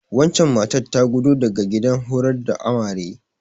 Wancen matar ta gudo daga gidan horar da Amare.